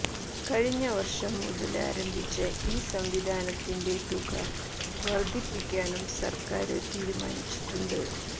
കഴിഞ്ഞ വര്ഷം മുതല് ആരംഭിച്ച ഈ സംവിധാനത്തിന്റെ തുക വര്ദ്ധിപ്പിക്കാനും സര്ക്കാര് തീരുമാനിച്ചിട്ടുണ്ട്